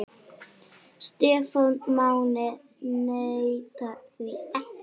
Stefán Máni neitar því ekki.